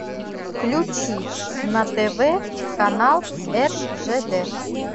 включи на тв канал ржд